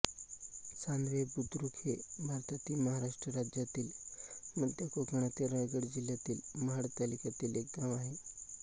चांधवे बुद्रुक हे भारतातील महाराष्ट्र राज्यातील मध्य कोकणातील रायगड जिल्ह्यातील महाड तालुक्यातील एक गाव आहे